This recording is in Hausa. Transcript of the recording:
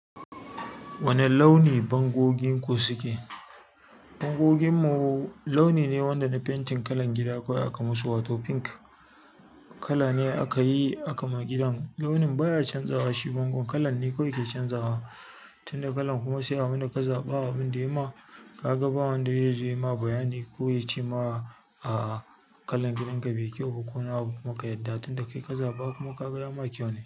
Wane launi bango gin ku suke? Bangon mu launi ne wanda na fentin kalan gida kawai aka musu wato pink kala ne aka yi aka yi akama gidan. Launin baya canzawa shi bango, kalan ne kawai ke canzawa. Tunda kalan kuma sai a mana kazaɓa abin da ya ma ka ga, ba wanda ya zai ma bayani ko ya ci ma kalon gidan ka bi kyau ko wani abu kuma ka yadda tunda ka yi kazaɓa kuma ka ga ya ma kyau ne.